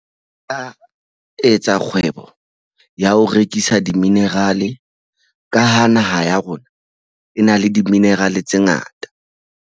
A etsa kgwebo ya ho rekisa di-mineral ka ha naha ya rona e na le di-mineral tse ngata.